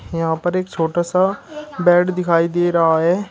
यहां पर एक छोटा सा बेड दिखाई दे रहा है।